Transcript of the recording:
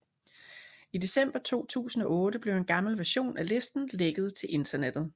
I december 2008 blev en gammel version af listen lækket til internettet